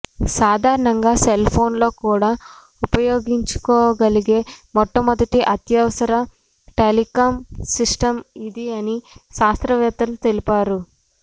సాధారణ సెల్ ఫోన్లలో కూడా ఉపయోగించుకోగలిగే మొట్టమొదటి అత్యవసర టెలికామ్ సిస్టమ్ ఇది అని శాస్త్రవేత్తలు తెలిపారు